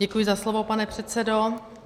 Děkuji za slovo, pane předsedo.